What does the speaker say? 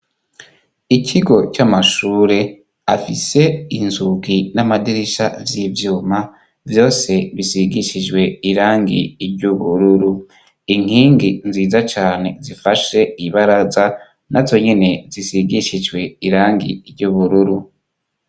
Ikigo c'amashure, afise inzugi n'amadirisha z'ivyuma, vyose bisigishijwe irangi iry'ubururu, inkingi nziza cane zifashe ibaraza, nazo nyene zisigishijwe irangi iry'ubururu.